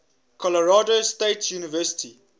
colorado state university